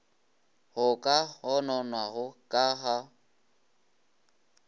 go ka gononwago ka ga